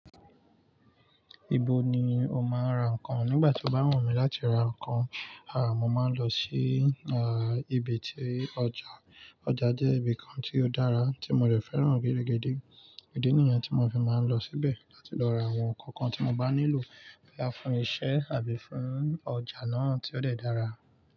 Ibo ni o máa ń ra nǹkan nígbà tí o bá wùn mí láti ra nǹkan? A! Mo máa ń lọ sí, ibi tí ọjà. Ọjà jẹ́ ibi kan tí ó dára tí mo dẹ̀ fẹ́ràn gẹrẹgẹdé. Ìdí nìyẹn tí mo fi máa ń lọ síbẹ̀ láti lọ ra àwọn nǹkan kan tí mo bá nílò, boyá fún iṣẹ́ àbí fún ọjà náà tí ó dẹ́ dára.